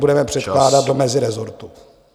... budeme předkládat do mezirezortu.